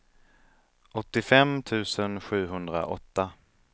åttiofem tusen sjuhundraåtta